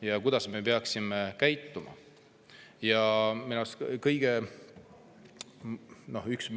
Ja kuidas me peaksime käituma?